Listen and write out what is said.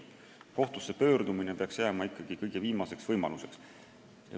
Kohtusse pöördumine peaks jääma kõige viimaseks võimaluseks.